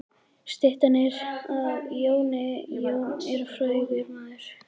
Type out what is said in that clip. Styttan er af Jóni. Jón er frægur maður.